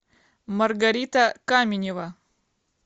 маргарита каменева